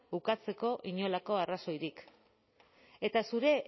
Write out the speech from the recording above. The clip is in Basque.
bukatzeko inolako arrazoirik eta zure